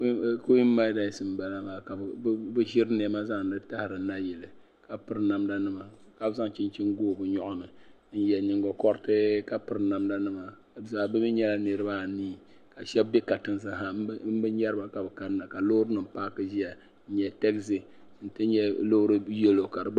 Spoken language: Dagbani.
Kuinmadasi n bala maa ka bɛ ziri nɛma zanli tahari nayili kapiri namdankma ka zan chinchini n gobi bɛ nyoɣini n yɛ niŋgao kɔritii ka piri damdanima bɛ mi nyɛla niri baa anii ka shɛbi katinha n bɛ nyariba kabɛ kan na ka loorinima laaki n ziya n nyɛ taazi n ti nyɛla loori yɛlo